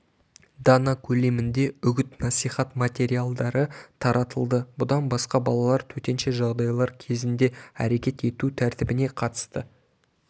дана көлемінде үгіт-насихат материалдары таратылды бұдан басқа балалар төтенше жағдайлар кезінде әрекет ету тәртібіне қатысты